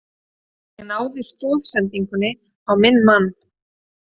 Ég náði stoðsendingu á minn mann.